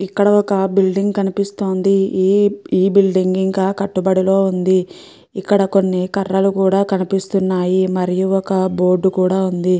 ఇక్కడ ఒక బిల్డింగ్ కనిపిస్తోంది ఈ బిల్డింగ్ ఇంకా కట్టుబడిలో ఉంది ఇక్కడ కొన్ని కర్రలు కూడా కనిపిస్తున్నాయి మరియు ఒక బోర్డు కూడా ఉంది.